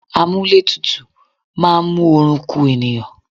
Àmúlétuntun máa ń mú oorun ku ènìyàn